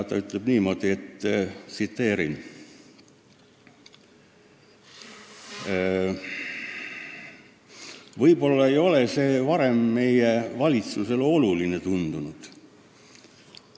Ta ütles niimoodi: "Võib-olla ei ole see varem meie valitsusele oluline tundunud.